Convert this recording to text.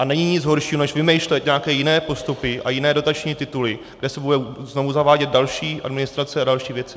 A není nic horšího než vymýšlet nějaké jiné postupy a jiné dotační tituly, kde se bude znova zavádět další administrace a další věci.